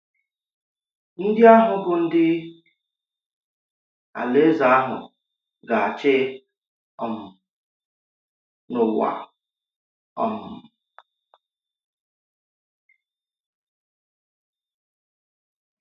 Ndí àhụ̀ bụ́ ndị Alaeze àhụ̀ ga-achị um n’ụ̀wa. um